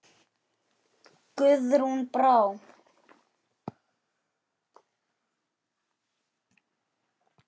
Guðrún Brá.